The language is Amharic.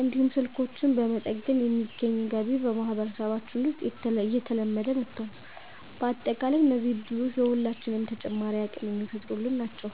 እንዲሁም ስልኮችን በመጠገን የሚገኝ ገቢ በማህበረሰባችን ውስጥ እየተለመደ መጥቷል። በአጠቃላይ እነዚህ እድሎች ለሁላችንም ተጨማሪ አቅም የሚፈጥሩልን ናቸው።